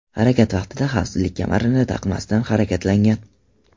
harakat vaqtida xavfsizlik kamarini taqmasdan harakatlangan.